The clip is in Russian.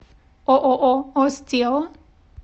ооо остео